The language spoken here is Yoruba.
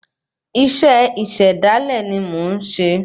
Isé ìṣẹ̀dálé ni mó n ṣé